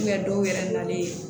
dɔw yɛrɛ nalen